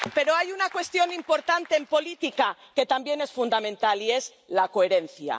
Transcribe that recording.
Pero hay una cuestión importante en política que también es fundamental y es la coherencia.